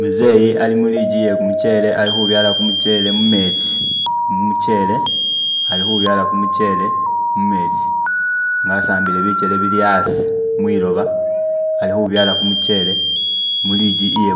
Muzeyi ali mu ligi eye kumuchere ali khubyala kumuchere mumetsi nga asambile bikele bili asi mwiloba alikhubyala kumuchere mu ligi iye